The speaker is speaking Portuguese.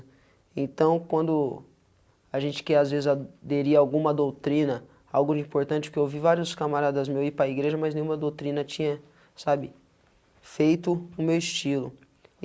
Então, quando a gente quer, às vezes, aderir alguma doutrina, algo importante, porque eu ouvi vários camaradas meu e para a igreja, mas nenhuma doutrina tinha sabe, feito o meu estilo.